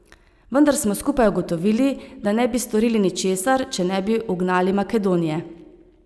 Vendar smo skupaj ugotovili, da ne bi storili ničesar, če ne bi ugnali Makedonije.